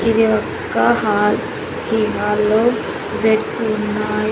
ఇది ఒక్క హాల్ ఈ హాల్లో బెడ్సు ఉన్నాయి.